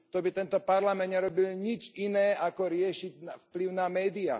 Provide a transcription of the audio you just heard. To by tento Parlament nerobil nič iné, ako riešiť vplyv na médiá.